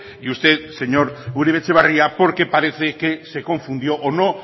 y usted señor uribe etxebarria porque parece que se confundió o no